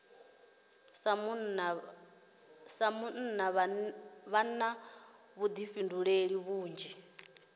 sa munna vha na vhuḓifhinduleli vhunzhi